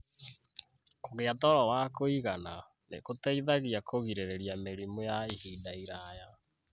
Kũgia toro wa kũigana nĩ gũteithagia kũgirĩrĩria mĩrimũ ya ihinda iraya.